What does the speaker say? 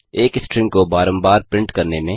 एक स्ट्रिंग को बारम्बार प्रिंट करने में